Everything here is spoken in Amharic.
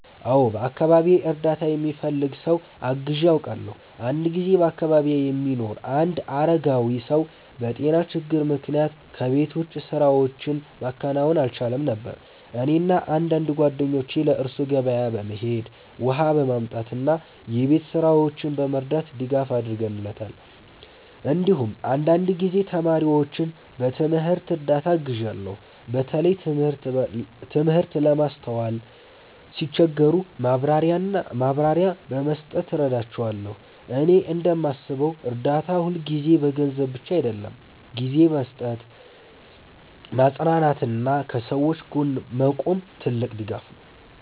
አዎ፣ በአካባቢዬ እርዳታ የሚፈልግ ሰው አግዤ አውቃለሁ። አንድ ጊዜ በአካባቢዬ የሚኖር አንድ አረጋዊ ሰው በጤና ችግር ምክንያት ከቤት ውጭ ስራዎችን ማከናወን አልቻለም ነበር። እኔና አንዳንድ ጓደኞቼ ለእሱ ገበያ በመሄድ፣ ውሃ በማምጣት እና የቤት ስራዎችን በመርዳት ድጋፍ አድርገንለታል። እንዲሁም አንዳንድ ጊዜ ተማሪዎችን በትምህርት እርዳታ አግዣለሁ፣ በተለይ ትምህርት ለማስተዋል ሲቸገሩ ማብራሪያ በመስጠት እረዳቸዋለሁ። እኔ እንደማስበው እርዳታ ሁልጊዜ በገንዘብ ብቻ አይሆንም፤ ጊዜ መስጠት፣ ማጽናናት እና ከሰዎች ጎን መቆምም ትልቅ ድጋፍ ነው።